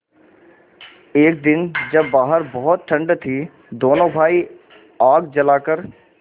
एक दिन जब बाहर बहुत ठंड थी दोनों भाई आग जलाकर